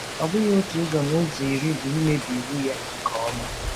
Ọ bụghị otu ụzọ n'ụzọ iri bụ imebi iwu ya nke ọma.